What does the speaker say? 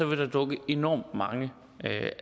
vil der dukke enormt mange